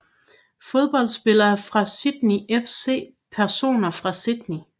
Fodboldspillere fra Sydney FC Personer fra Sydney